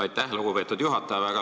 Aitäh, lugupeetud juhataja!